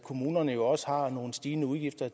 at kommunerne jo også har nogle stigende udgifter